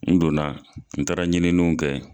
N don na n taara ɲininiw kɛ.